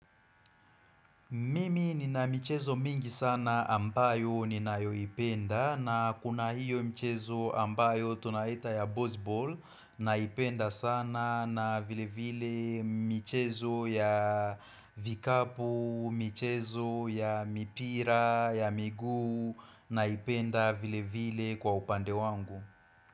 Mimi nina michezo mingi sana ambayo ni nayo ipenda na kuna hiyo michezo ambayo tunaita ya Bozball na ipenda sana na vilevile michezo ya vikapu michezo ya mipira ya miguu na ipenda vilevile kwa upande wangu.